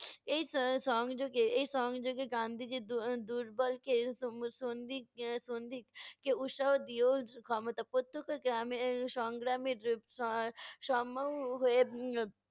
এই আহ সংযোগে এই সংযোগে গান্ধিজী দু~ দুর্বলকে কে উৎসাহ দিও ক্ষমতা সংগ্রামের